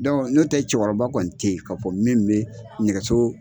n'o tɛ cɛkɔrɔba kɔni ten yen k'a fɔ min bɛ nɛgɛso